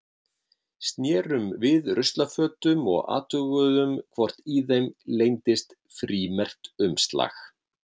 Snerum við ruslafötum og athuguðum hvort í þeim leyndist frímerkt umslag.